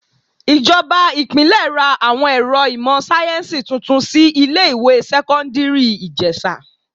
Ìjọba Ìpínlẹ̀ ra àwọn ẹ̀rọ ìmò sáyẹ́nsì tuntun sí ilé ìwé sẹ́kọ́ńdírì Ìjẹ̀sà..